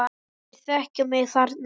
Þeir þekkja mig þarna.